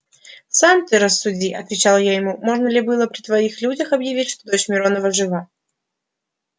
сам ты рассуди отвечал я ему можно ли было при твоих людях объявить что дочь миронова жива